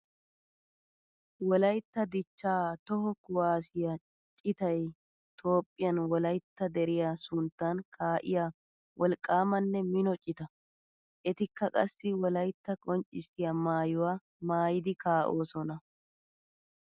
Wolaytta dicha toho kuwasiya citay toophphiyan wolaytta deriya sunttan kaa'iya wolqqamanne mino cita. Ettikka qassi wolaytta qonccissiya maayuwa maayiddi kaa'ossonna.